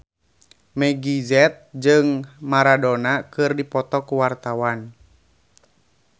Meggie Z jeung Maradona keur dipoto ku wartawan